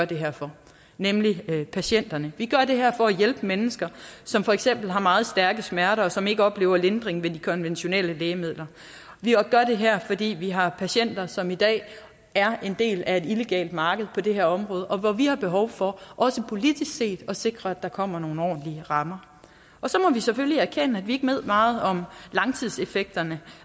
det her for nemlig patienterne vi gør det her for at hjælpe mennesker som for eksempel har meget stærke smerter og som ikke oplever lindring ved de konventionelle lægemidler vi gør det her fordi vi har patienter som i dag er en del af et illegalt marked på det her område og hvor vi har behov for også politisk set at sikre at der kommer nogle ordentlige rammer så må vi selvfølgelig erkende at vi ikke ved meget om langtidseffekterne